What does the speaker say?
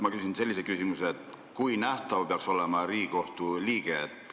Ma küsin sellise küsimuse: kui nähtav peaks olema Riigikohtu liige?